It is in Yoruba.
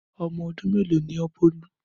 Ọmọ ọdún melo ni ọ Bolu?